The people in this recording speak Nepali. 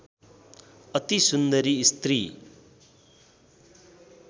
अति सुन्दरी स्त्री